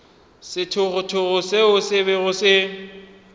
sethogothogo seo se bego se